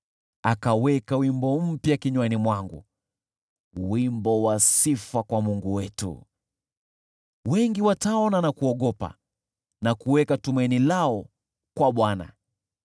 Akaweka wimbo mpya kinywani mwangu, wimbo wa sifa kwa Mungu wetu. Wengi wataona na kuogopa na kuweka tumaini lao kwa Bwana .